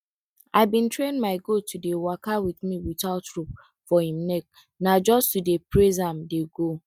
i bin train my goat to dey waka with me without rope for em neck na just to dey praise am dey go